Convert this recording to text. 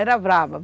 Era brava.